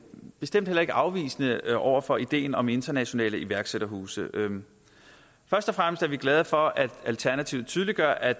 bestemt heller ikke afvisende over for ideen om internationale iværksætterhuse først og fremmest er vi glade for at alternativet tydeliggør at